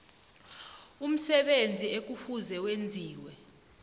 umsebenzi ekufuze wenziwe